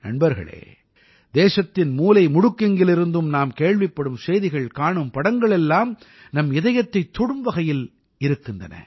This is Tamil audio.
நண்பர்களே தேசத்தின் மூலைமுடுக்கெங்கிலிருந்தும் நாம் கேள்விப்படும் செய்திகள் காணும் படங்கள் எல்லாம் நம் இதயத்தைத் தொடும் வகையில் இருக்கின்றன